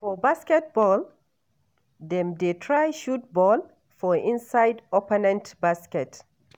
For basket ball, dem dey try shoot ball for inside opponent basket.